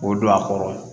O don a kɔrɔ